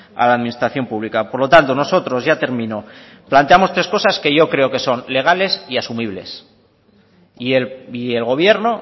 a la administración pública por lo tanto nosotros ya termino planteamos tres cosas que yo creo que son legales y asumibles y el gobierno